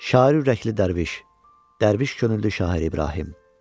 Şair ürəkli dərviş, dərviş könüllü şair İbrahim.